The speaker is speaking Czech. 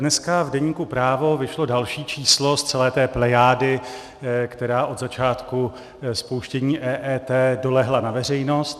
Dneska v deníku Právo vyšlo další číslo z celé té plejády, která od začátku spouštění EET dolehla na veřejnost.